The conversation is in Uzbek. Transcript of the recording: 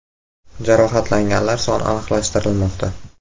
Jarohatlanganlar soni aniqlashtirilmoqda.